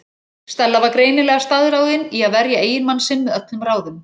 Stella var greinilega staðráðin í að verja eiginmann sinn með öllum ráðum.